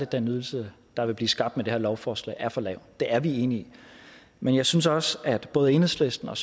den ydelse der vil blive skabt med det her lovforslag er for lav det er vi enige i men jeg synes også at både enhedslisten og